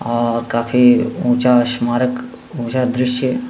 और काफी ऊंचा स्मारक ऊंचा दृश्य --